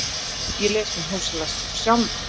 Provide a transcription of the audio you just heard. Ég les minn húslestur sjálfur